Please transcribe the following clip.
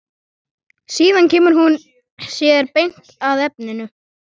Síðan kemur hún sér beint að efninu.